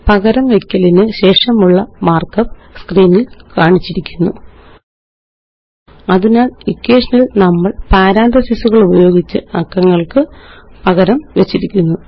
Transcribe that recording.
പകരം വെയ്ക്കലിനുശേഷമുള്ള മാര്ക്കപ്പ് സ്ക്രീനില് കാണിച്ചിരിക്കുന്നു അതിനാല് ഇക്വേഷനില് നമ്മള് പാരാന്തസിസുകളുപയോഗിച്ച് അക്കങ്ങള്ക്ക് പകരംവെച്ചിരിക്കുന്നു